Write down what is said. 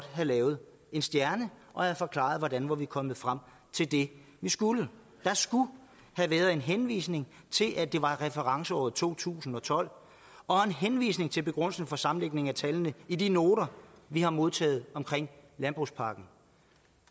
have lavet en stjerne og have forklaret hvordan vi var kommet frem til det vi skulle der skulle have været en henvisning til at det var referenceåret to tusind og tolv og en henvisning til begrundelsen for sammenlægningen af tallene i de noter vi har modtaget omkring landbrugspakken